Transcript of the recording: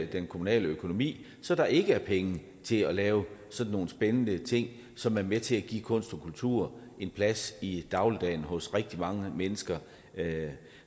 den kommunale økonomi så der ikke er penge til at lave sådan nogle spændende ting som er med til at give kunst og kultur en plads i dagligdagen hos rigtig mange mennesker